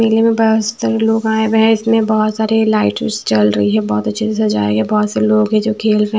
दिल्ली में बहुत लोग आए हुए हैं इसमें बहुत सारे लाइट चल रही है बहुत सजा है बहुत से लोग है जो खेल रहे हैं।